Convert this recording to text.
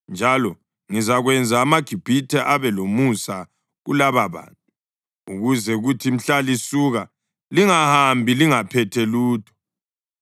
Njalo ngizakwenza amaGibhithe abe lomusa kulababantu, ukuze kuthi mhla lisuka lingahambi lingaphethe lutho.